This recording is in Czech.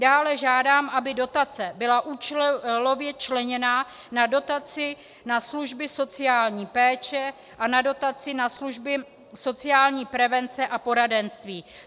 Dále žádám, aby dotace byla účelově členěná na dotaci na služby sociální péče a na dotaci na služby sociální prevence a poradenství.